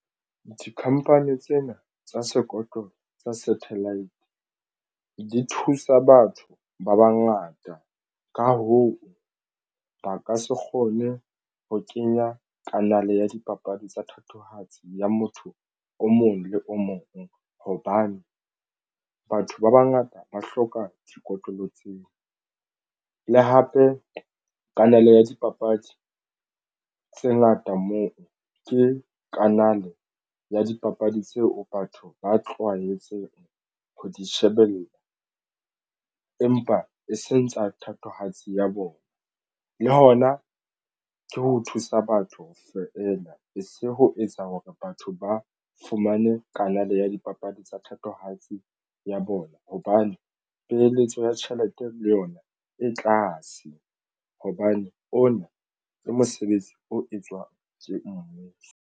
Di-company tsena tsa sekotlolo sa satellite di thusa batho ba bangata. Ka hoo, ba ka se kgone ho kenya kanale a dipapadi tsa thatohatsi ya motho o mong le o mong hobane batho ba bangata ba hloka dikotlolo tseo le hape. Kanale ya dipapadi tse ngata moo ke kanale ya dipapadi tseo batho ba tlwaetseng ho di shebella empa e seng tsa thatohatsi ya bona le hona ke ho thusa batho fela e se ho etsa hore batho ba fumane kanale ya dipapadi papadi tsa thatohatsi ya bona hobane peeletso ya tjhelete le yona e tlase hobane ona le mosebetsi o etswang ke mmuso.